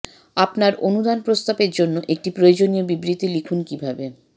আপনার অনুদান প্রস্তাবের জন্য একটি প্রয়োজনীয় বিবৃতি লিখুন কিভাবে